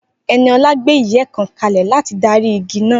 Eniola gbé ìyẹ́ kan kalẹ̀ láti darí igi náà